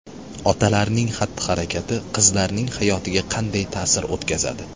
Otalarning xatti-harakati qizlarning hayotiga qanday ta’sir o‘tkazadi?.